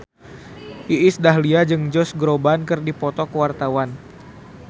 Iis Dahlia jeung Josh Groban keur dipoto ku wartawan